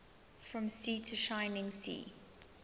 from sea to shining sea